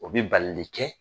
O bɛ balili kɛ